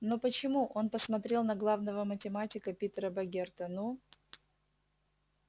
но почему он посмотрел на главного математика питера богерта ну